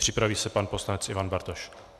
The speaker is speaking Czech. Připraví se pan poslanec Ivan Bartoš.